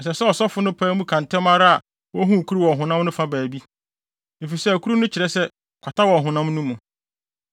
Ɛsɛ sɛ ɔsɔfo no pae mu ka ntɛm ara a ohu kuru wɔ honam no fa baabi, efisɛ akuru no kyerɛ sɛ kwata wɔ ɔhonam no mu.